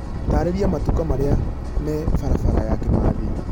taarĩria matuka marĩa me barabara ya Kimathi